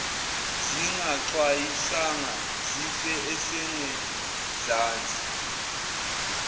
zingaxwayisanga zife esengezansi